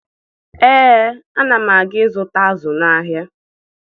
Ee, ana m aga ịzụta azụ n'ahịa